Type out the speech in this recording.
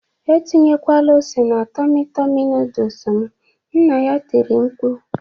Etinyekwala ose na Tọmị Tọmị noodles m"nna ya tiri mkpu